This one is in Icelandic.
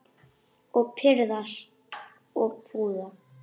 Og pirrast og puða.